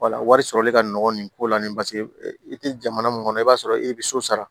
wala wari sɔrɔli ka nɔgɔ nin ko la nin paseke i tɛ jamana mun kɔnɔ i b'a sɔrɔ e bɛ so sara